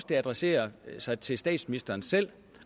det adresserer sig til statsministeren selv